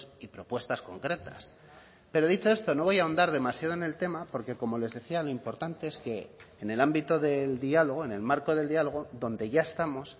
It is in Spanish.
y propuestas concretas pero dicho esto no voy a ahondar demasiado en el tema porque como les decía lo importante es que en el ámbito del diálogo en el marco del dialogo donde ya estamos